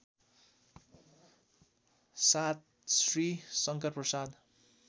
७ Shri Shankarprasad